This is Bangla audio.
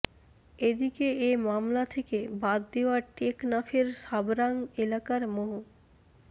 এদিকে এ মামলা থেকে বাদ দেওয়া টেকনাফের সাবরাং এলাকার মো